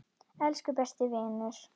Elsku besti vinur.